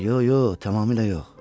Yox, yox, tamamilə yox.